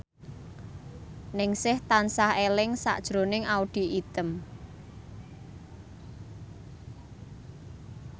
Ningsih tansah eling sakjroning Audy Item